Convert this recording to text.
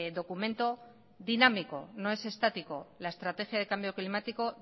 documento dinámico no es estático la estrategia de cambio climático